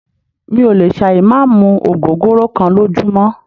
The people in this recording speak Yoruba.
Mí ò lè ṣà ì má mú ògógóró kán lójúmọ́.